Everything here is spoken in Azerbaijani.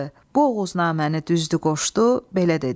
Bu Oğuznaməni düzdü qoşdu, belə dedi: